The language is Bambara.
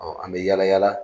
Ɔ an bɛ yala yala